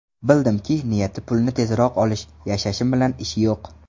Bildimki, niyati pulni tezroq olish, yashashim bilan ishi yo‘q.